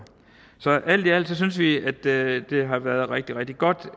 så alt i alt synes vi at det har været rigtig rigtig godt